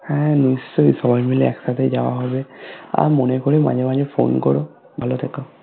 হ্যা নিশ্চই সবাই মিলে একসাথে জবাহবে আর মোনে কোরে মাঝে মাঝে Phone কোরো ভালো থেকো